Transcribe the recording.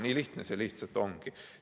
Nii lihtne see ongi.